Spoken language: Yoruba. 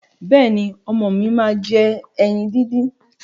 Bẹ́ẹ̀ni, ọmọ mi máa ń jẹ ẹyin díndín.